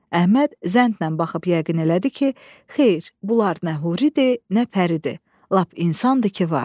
Əhməd zəndnən baxıb yəqin elədi ki, xeyr, bunlar nə huridir, nə pəridir, lap insandır ki, var.